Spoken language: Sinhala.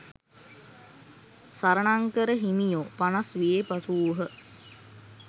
සරණංකර හිමියෝ පනස් වියේ පසු වූහ.